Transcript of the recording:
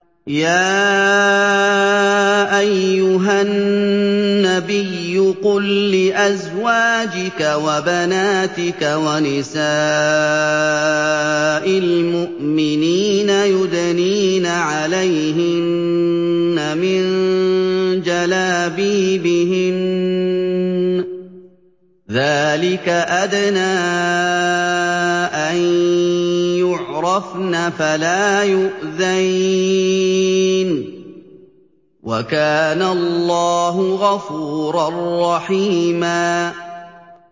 يَا أَيُّهَا النَّبِيُّ قُل لِّأَزْوَاجِكَ وَبَنَاتِكَ وَنِسَاءِ الْمُؤْمِنِينَ يُدْنِينَ عَلَيْهِنَّ مِن جَلَابِيبِهِنَّ ۚ ذَٰلِكَ أَدْنَىٰ أَن يُعْرَفْنَ فَلَا يُؤْذَيْنَ ۗ وَكَانَ اللَّهُ غَفُورًا رَّحِيمًا